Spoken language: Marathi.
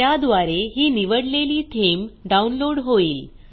त्याद्वारे ही निवडलेली थीम डाऊनलोड होईल